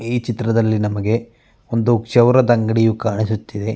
ಈ ಚಿತ್ರದಲ್ಲಿ ನಮಗೆ ಒಂದು ಚೌರದ ಅಂಗಡಿಯು ಕಾಣಿಸುತ್ತಿದೆ.